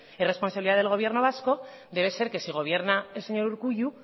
es responsabilidad del gobierno vasco debe ser que si gobierna el señor urkullu